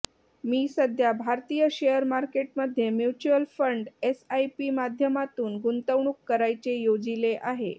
मी सध्या भारतीय share market मध्ये म्युच्युअल फंड एसआयपी माध्यमातून गुंतवणूक करायचे योजिले आहे